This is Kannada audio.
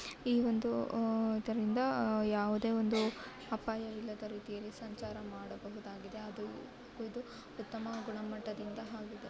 ಈ ಒಂದು ಅ ಇದ್ರಿಂದ ಯಾವುದೇ ಒಂದು ಅಪಾಯವಿಲ್ಲದ ರೀತಿಯಲ್ಲಿ ಸಂಚಾರ ಮಾಡಬಹುದಾಗಿದೆ ಅದು ಇದು ಉತ್ತಮ ಗುಣಮಟ್ಟದಿಂದ ಆಗಿದೆ.